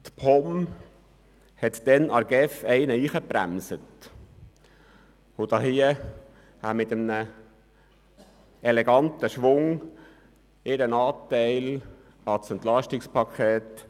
Die POM hatte damals der GEF etwas eingebrockt und damit in einem eleganten Schwung ihren Anteil am EP 18 erhöht.